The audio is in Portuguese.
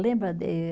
Lembra de eh